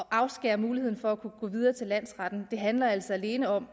afskære muligheden for at kunne gå videre til landsretten handler altså alene om